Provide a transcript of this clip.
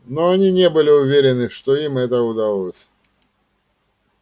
но они не были уверены что им это удалось